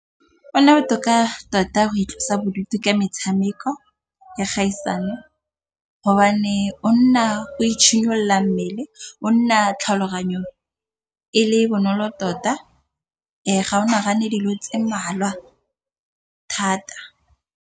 Go nna botoka tota go itlosa bodutu ka metshameko ya kgaisano gobane o nna o mmele, o nna tlhaloganyong e le bonolo tota ga o nagane dilo tse mmalwa thata.